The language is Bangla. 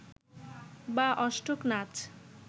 বা অষ্টক নাচ